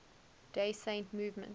day saint movement